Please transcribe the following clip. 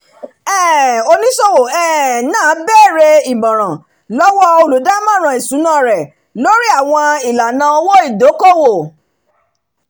um oníṣòwò um náà bèèrè ìmọ̀ràn lọ́wọ́ olùdámọ̀ràn ìṣúná rẹ̀ lórí àwọn ìlànà owó ìdókòwò